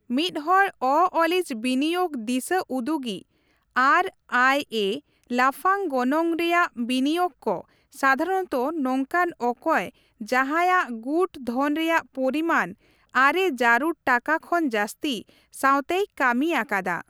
ᱢᱤᱫᱦᱚᱲ ᱚᱼᱚᱞᱚᱤᱡ ᱵᱤᱱᱤᱭᱳᱜᱽ ᱫᱤᱥᱟᱹ ᱩᱫᱩᱜᱤᱡ (ᱟᱨᱹᱟᱭᱹᱮ) ᱞᱟᱯᱷᱟᱝ ᱜᱚᱱᱚᱝ ᱨᱮᱭᱟᱜ ᱵᱤᱱᱤᱭᱳᱜᱽ ᱠᱚ (ᱥᱟᱫᱷᱟᱨᱚᱱᱛᱚ ᱱᱚᱝᱠᱟᱱ ᱚᱠᱚᱭ ᱡᱟᱸᱦᱟᱭᱼᱟᱜ ᱜᱩᱴ ᱫᱷᱚᱱ ᱨᱮᱭᱟᱜ ᱯᱚᱨᱤᱢᱟᱱ ᱟᱨᱮ ᱡᱟᱹᱨᱩᱲ ᱴᱟᱠᱟ ᱠᱷᱚᱱ ᱡᱟᱹᱥᱛᱤ) ᱥᱟᱶᱛᱮᱭ ᱠᱟᱹᱢᱤ ᱟᱠᱟᱫᱟ ᱾